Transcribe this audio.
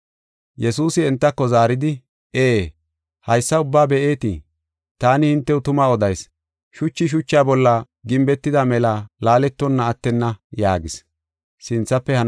Yesuusi entako zaaridi, “Ee! Haysa ubbaa be7eetii? Taani hintew tumaa odayis; shuchi shucha bolla gimbetida mela laaletonna attenna” yaagis.